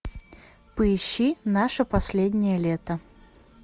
поищи наше последнее лето